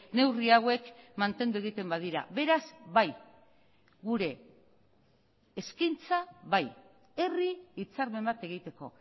neurri hauek mantendu egiten badira beraz bai gure eskaintza bai herri hitzarmen bat egiteko